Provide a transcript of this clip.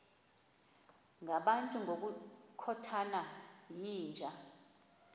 ngabantu ngokukhothana yinja